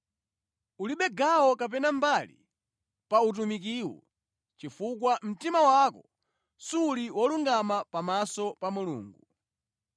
Ulibe gawo kapena mbali pa utumikiwu, chifukwa mtima wako suli wolungama pamaso pa Mulungu.